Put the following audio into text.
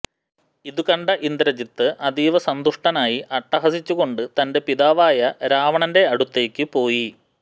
ഇതുകണ്ട ഇന്ദ്രജിത്ത് അതീവ സന്തുഷ്ടനായി അട്ടഹസിച്ചു കൊണ്ട് തന്റെ പിതാവായ രാവണന്റെ അടുത്തേക്ക് പോയി